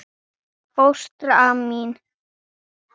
Fóstra mín